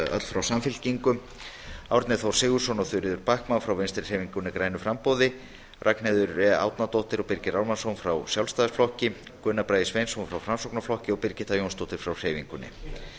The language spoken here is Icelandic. frá samfylkingunni árni þór sigurðsson og þuríður backman frá vinstri hreyfingunni grænu framboði ragnheiður e árnadóttir og birgir ármannsson frá sjálfstæðisflokknum gunnar bragi sveinsson frá framsóknarflokknum og birgitta jónsdóttir frá hreyfingunni